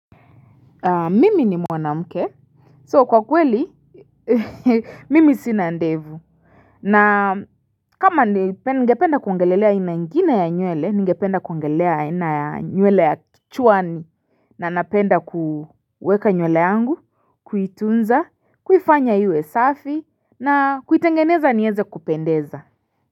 Mimi ni mwanamke so kwa kweli mimi sina ndevu na kama ningependa kuongelelea aina ingine ya nywele, ningependa kuongelelea aina ya nywele ya kichwani. Na napenda kuweka nywele yangu, kuitunza, kuifanya iwe safi na kuitengeneza niweze kupendeza.